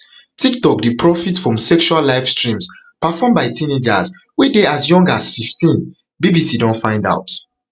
tiktok dey profit from sexual livestreams performed by teenagers wey dey as young as fifteen bbc don find out